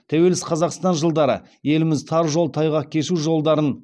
тәуелсіз қазақстан жылдары еліміз тар жол тайғақ кешу жолдарын